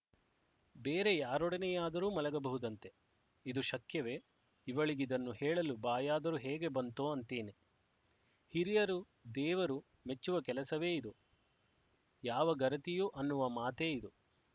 ಬೇರೆ ಯಾರೊಡನೆಯಾದರೂ ಮಲಗಬಹುದಂತೆ ಇದು ಶಕ್ಯವೆಇವಳಿಗಿದನ್ನು ಹೇಳಲು ಬಾಯಾದರೂ ಹೇಗೆ ಬಂತೋ ಅಂತೇನೆ ಹಿರಿಯರು ದೇವರು ಮೆಚ್ಚುವ ಕೆಲಸವೇ ಇದು ಯಾವ ಗರತಿಯೂ ಅನ್ನುವ ಮಾತೇ ಇದು